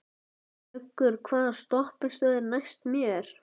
Muggur, hvaða stoppistöð er næst mér?